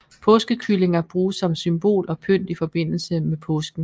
Påskekyllinger bruges som symbol og pynt i forbindelse med påsken